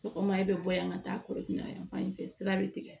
Sɔgɔmada bɛ bɔ yan ka taa kɔrɔfinya yan fan in fɛ sira bɛ tigɛ